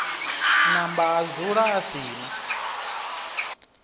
namba adzula a si na